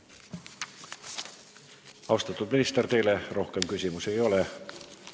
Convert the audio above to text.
Austatud minister, teile rohkem küsimusi ei ole.